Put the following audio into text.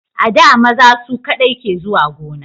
A da maza su kadai ke zuwa gona